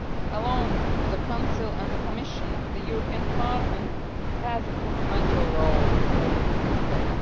Along with the Council and the Commission, the European Parliament has a fundamental role to play in this respect.